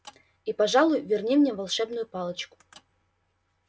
и пожалуй верни мне волшебную палочку